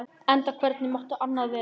Enda hvernig mátti annað vera?